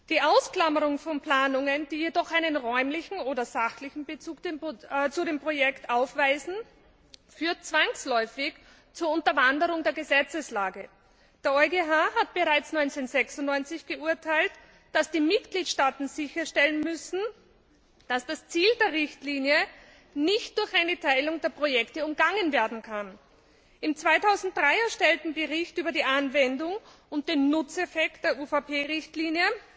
Die Ausklammerung von Planungen, die jedoch einen räumlichen oder sachlichen Bezug zu dem Projekt aufweisen, führt zwangsläufig zur Unterwanderung der Gesetzeslage. Der EuGH hat bereits 1996 geurteilt, dass die Mitgliedstaaten sicherstellen müssen, dass das Ziel der Richtlinie nicht durch eine Teilung der Projekte umgangen werden kann. Im 2003 erstellten Bericht über die Anwendung und den Nutzeffekt der UVP Richtlinie